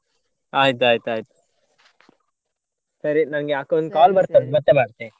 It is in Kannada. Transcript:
ಆಯ್ತ್ ಆಯ್ತ್ ಅಯ್ತು ಸರಿ ನಂಗೆ ಅಕ್ಕ ಒಂದು call ಬರ್ತಾ ಉಂಟು ಮತ್ತೆ ಮಾಡ್ತೆ.